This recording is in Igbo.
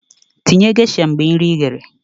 Tinye geisha mgbe nyechara nri